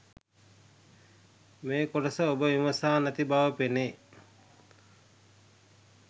මේ ‍කොටස ඔබ විමසා නැති බව පෙනේ